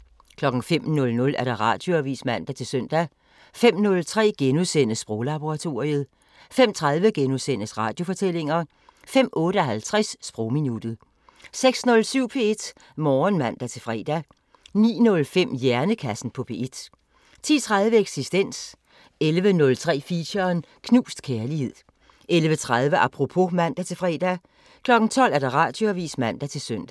05:00: Radioavisen (man-søn) 05:03: Sproglaboratoriet * 05:30: Radiofortællinger * 05:58: Sprogminuttet 06:07: P1 Morgen (man-fre) 09:05: Hjernekassen på P1 10:03: Eksistens 11:03: Feature: Knust kærlighed 11:30: Apropos (man-fre) 12:00: Radioavisen (man-søn)